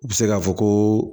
U bɛ se k'a fɔ ko